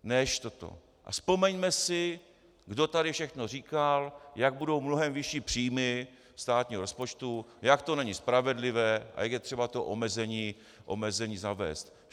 A vzpomeňme si, kdo tady všechno říkal, jak budou mnohem vyšší příjmy státního rozpočtu, jak to není spravedlivé a jak je třeba to omezení zavést.